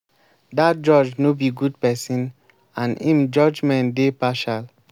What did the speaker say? dat judge no be good person and im judgement dey partial